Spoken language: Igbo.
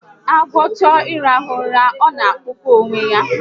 Agwọ chọọ ịrahụ ụra, ọ na-akpụkọ onwe ya